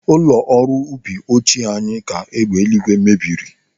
Ụlọ ọrụ ubi ochie anyị ka egbe ìgwè mebiri.